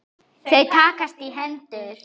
Þau takast í hendur.